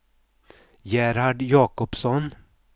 Gerhard Jakobsson